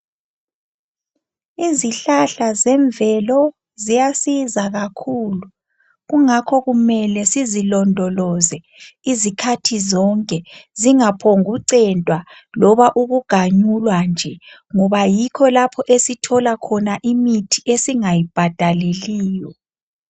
Izihlahla ezemvelo ziyasiza kakhulu ,kungakho kumele sizilondoloze izikhathi zonke. Zingaphokucentwa noma ukuganyulwa nje ngoba yikho lapho esithola khona imithi esingayibhadaleliyo.